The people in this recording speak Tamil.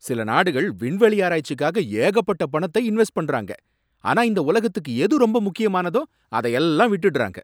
சில நாடுகள் விண்வெளி ஆராய்ச்சிக்காக ஏகப்பட்ட பணத்தை இன்வெஸ்ட் பண்றாங்க. ஆனா இந்த உலகத்துக்கு எது ரொம்ப முக்கியமானதோ அதையெல்லாம் விட்டுடறாங்க.